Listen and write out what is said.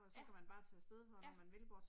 Ja, ja